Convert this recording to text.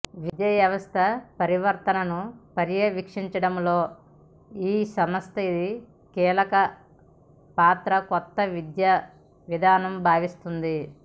విద్యావ్యవస్థ పరివర్తనను పర్యవేక్షించడంలో ఈ సంస్థది కీలక పాత్రగా కొత్త విద్యావిధానం భావిస్తోంది